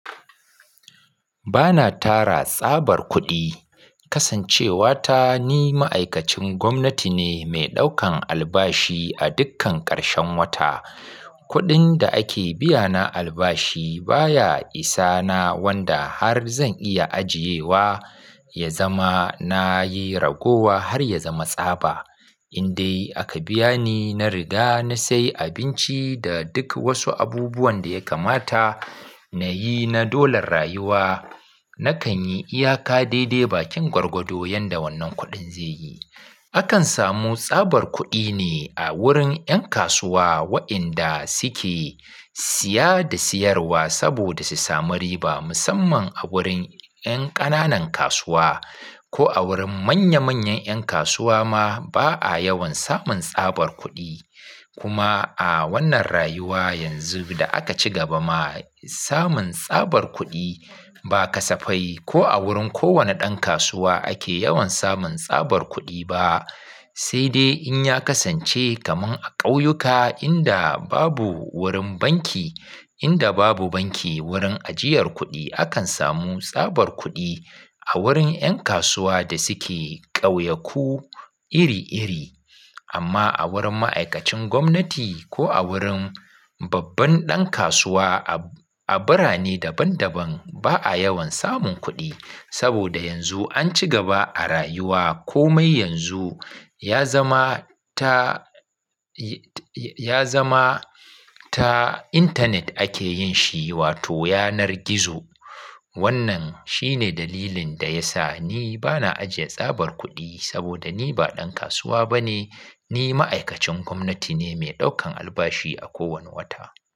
Ba na tara tsabar kuɗi, kasancewata ni ma'aikacin gwamnati ne mai ɗaukan albashi a dukkan ƙarshen wata. Kuɗin da ake biyana albashi baya isa na wanda har zan iya ajiye wa ya zama na yi ragowa har ya zama tsaba. In dai aka biya ni, na riga na sai abinci da duk wasu abubuwan da ya kamata na yi na dolan rayuwa. Na kan yi iyaka daidai bakin gwargwado yanda wannan kuɗin zai yi. Akan samu tsabar kuɗi ne a wurin 'yan kasuwa waɗanda suke siya da siyarwa saboda su samu riba musamman a wurin 'yan ƙananan kasuwa. Ko a wurin manya manyan 'yan kasuwa ma ba a yawan samun tsabar kuɗi. Kuma a wannan rayuwa yanzu da aka ci gaba ma samun tsabar kuɗi ba kasafai ko a wurin kowane ɗan kasuwa ake yawan samun tsabar kuɗi ba. Sai dai in ya kasance kaman a ƙauyuka inda babu wurin banki, inda babu banki wurin ajiyar kuɗi, akan samu tsabar kuɗi a wurin 'yan kasuwa da suke ƙauyaku iri iri. Amma a wurin ma'aikacin gwamnati ko a wurin babban ɗan kasuwa a birane daban daban ba a yawan samun kuɗi. Saboda yanzu an ci gaba a rayuwa komai yanzu ya zama ta, ya zama ta intanet ake yin shi wato yanar gizo. Wannan shi ne dalilin da ya sa ni ba na ajiye tsabar kuɗi saboda ni ba ɗan kasuwa ba ne. Ni ma'aikacin gwamnati ne mai ɗaukan albashi a kowane wata.